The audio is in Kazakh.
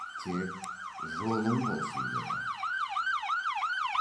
тек жолың болсын деді